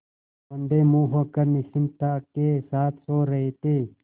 औंधे मुँह होकर निश्चिंतता के साथ सो रहे थे